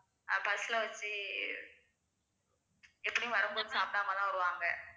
அஹ் bus ல வச்சு எப்படியும் வரும்போது சாப்பிடாம தான் வருவாங்க